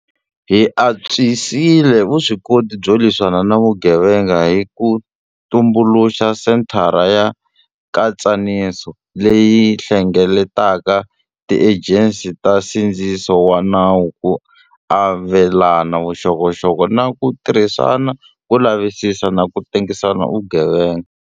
Hi antswisile vuswikoti byo lwisana na vugevenga hi ku tumbuluxa Senthara ya Nkatsaniso, leyi hlengeletaka tiejensi ta nsindziso wa nawu ku avelana vuxokoxoko na ku tirhisana ku lavisisa na ku tengisa vugevenga.